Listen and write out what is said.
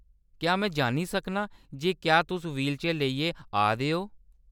क्या में जान्नी सकनां जे क्या तुस व्हीलचेयर लेइयै आ दे ओ ?